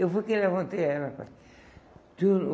Eu fui quem levantei ela, rapaz.